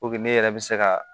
ne yɛrɛ bɛ se ka